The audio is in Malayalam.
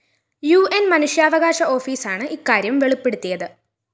ഉ ന്‌ മനുഷ്യാവകാശ ഓഫീസാണ് ഇക്കാര്യം വെളിപ്പെടുത്തിയത്